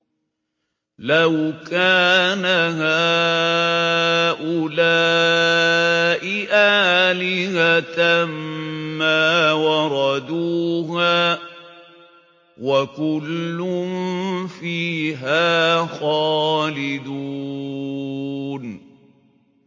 لَوْ كَانَ هَٰؤُلَاءِ آلِهَةً مَّا وَرَدُوهَا ۖ وَكُلٌّ فِيهَا خَالِدُونَ